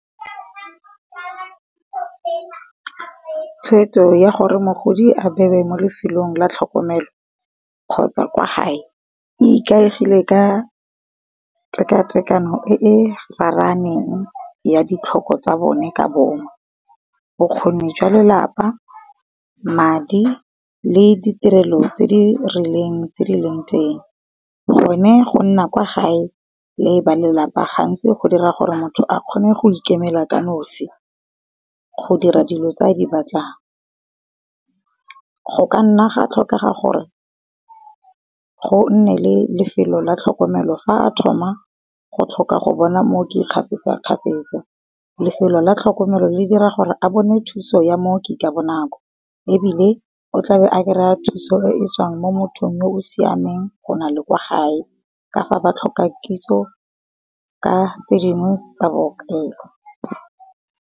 Tshweetso ya gore mogodi a bewe mo lefelong la tlhokomelo, kgotsa kwa gae, e ikaegile ka tekatekano e e raraneng ya ditlhoko tsa bone ka bongwe. Bokgoni jwa lelapa, madi le di tirelo tse di rileng tse di leng teng. Gone go nna kwa gae le ba lelapa gantsi go dira gore motho a kgone go ikemela ka nosi, go dira dilo tse a di batlang. Go ka nna ga tlhokega gore, go nne le lefelo la tlhokomelo fa a thoma go tlhoka go bona mooki kgafetsa-kgafetsa, lefelo la tlhokomelo le dira gore a bone thuso ya mooki ka bonako. Ebile o tlabe a kry-a thuso e tswang mo mothong yo o siameng go nale kwa gae, ka fa ba tlhoka kitso ka tse dingwe tsa bookelo.